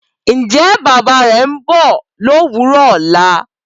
Ǹjẹ́ bàbá rẹ ńbọ̀ lówùrọ ọ̀la?